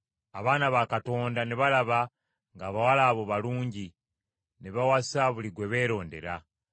Abaana ba Katonda ne balaba ng’abawala abo balungi ne bawasa buli gwe beerondera.